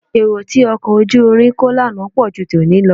Èrò tí ọkọ̀ ojú irin kó lánàá pọ̀ ju tòní lọ